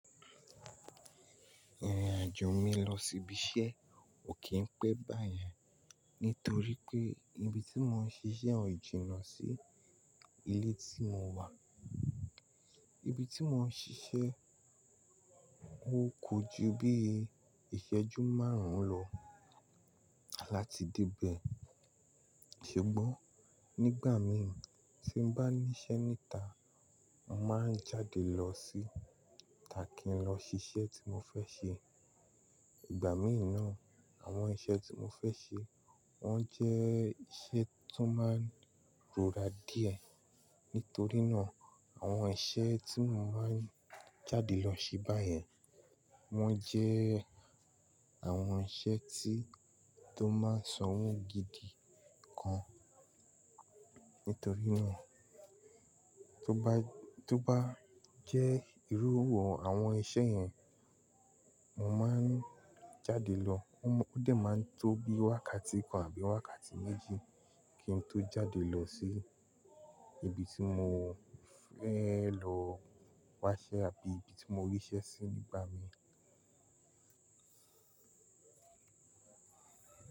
Ìrìn-àjò mi lọ sí ibi iṣẹ́ ko kí ń pẹ́ báyen, nítorí pé ibi tí mò ń ṣiṣẹ́ ò jìnnà sí ilé tí mò wa. Ibi tí mò ń ṣiṣẹ́, ó kò ju bí ìṣẹ́jú márùn-ún lọ láti dé bẹ̀. Ṣugbin, nígbà mi tí n bá níṣẹ́ níta, mò máa ń jáde lọ síta kí n lọ ṣiṣẹ́ tí mò fẹ́ ṣe. Ìgbà míì náà, àwọn iṣẹ́ tí mò ń fẹ́ ṣe, wọ́n jẹ́ iṣẹ́ tó máa ń rora díẹ̀. Nítorí náà, àwọn iṣẹ́ tí mò máa ń jáde lọ se báyẹn, wọ́n jẹ́ àwọn iṣẹ́ tí tó máa ń sanwó gidi gan. Nítorí náà, tó bá, tó bá jẹ́ ìrú àwọn iṣẹ́ yẹn, mò máa ń jáde lọ. Ó dẹ̀ máa ń tó bí wákàtí kan àbí wákàtí méjì kí n tó jáde lọ sí ibi tí mò ń fẹ́ lọ wáṣẹ́ àbí ibi tí mò ríṣẹ́ sí nígbà míì.